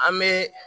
An bɛ